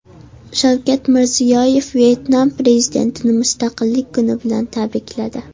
Shavkat Mirziyoyev Vyetnam prezidentini Mustaqillik kuni bilan tabrikladi.